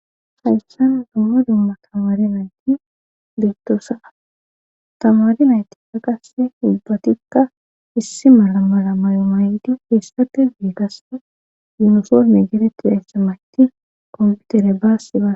hayssan dumma dumma tamari nayti beettoosaa tamari nayti kaqasse ubbatikka issi mala mala may7o mayidi feessate biigase yunosorme geretti dayssa mayti kompiutere baassi ba